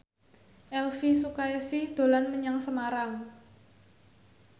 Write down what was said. Elvy Sukaesih dolan menyang Semarang